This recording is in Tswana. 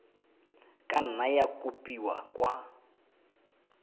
ka nna ya kopiwa kwa